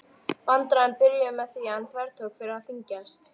Vandræðin byrjuðu með því að hann þvertók fyrir að þyngjast.